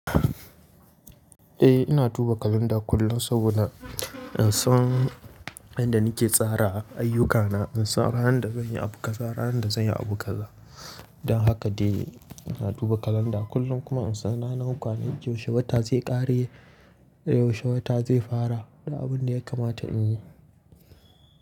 Eh ina duba kalanda kullum saboda in san inda nike tsara ayyukana, in san ranar da zanyi abu kaza, ranar da zanyi abu kaza. Don haka dai ina duba kalanda kullum kuma in san ranar kwane, yaushe wata zai kare, yaushe wata zai fara da abun da yakamata in yi.